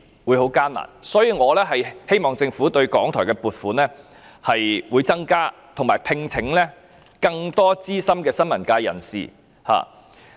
因此，我希望政府增加對港台的撥款，並讓其聘請更多資深新聞工作者。